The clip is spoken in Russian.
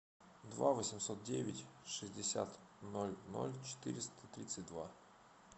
два восемьсот девять шестьдесят ноль ноль четыреста тридцать два